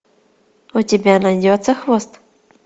у тебя найдется хвост